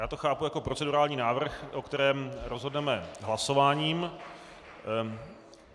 Já to chápu jako procedurální návrh, o kterém rozhodneme hlasováním.